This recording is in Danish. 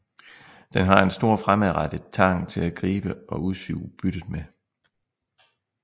Den har en stor fremadrettet tang til at gribe og udsuge byttet med